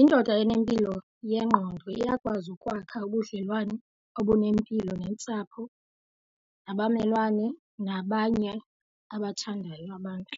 Indoda enempilo yengqondo iyakwazi ukwakha ubudlelwane obunempilo nentsapho nabamelwane nabanye abathandayo abantu.